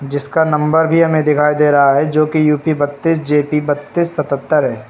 इसका नंबर भी हमें दिखाई दे रहा है जो कि यू_पी बत्तीस जे_पी बत्तीस सतहत्तर है।